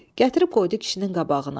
Gətirib qoydu kişinin qabağına.